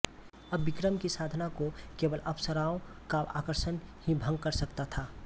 अब विक्रम की साधना को केवल अप्सराओं का आकर्षण ही भंग कर सकता था